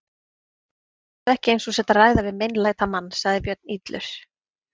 Láttu ekki eins og þú sért að ræða við meinlætamann, sagði Björn illur.